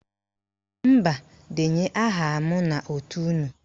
Mba, denye aha m n'òtù unu